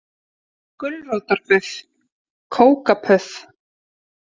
Gulrótarbuff kókapuff.